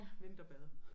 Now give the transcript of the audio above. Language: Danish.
Vinterbade